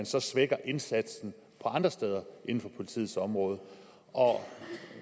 så svækker indsatsen andre steder inden for politiets område og